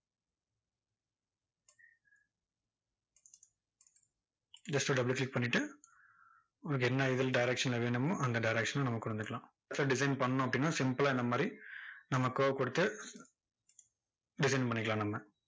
just ஒரு double click பண்ணிட்டு, உங்களுக்கு என்ன இதுல direction ல வேணுமோ அந்த direction ல நமக்கு கொண்டு வந்துக்கலாம். so design பண்ணணும் அப்படினா simple லா இந்த மாதிரி நம்ம curve கொடுத்து design பண்ணிக்கலாம் நம்ம.